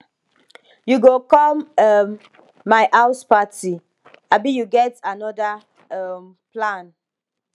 you go come um my house party abi you get anoda um plan